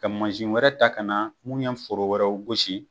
Kɛ mansin wɛrɛ ta ka na mun ye foro wɛrɛw gosi.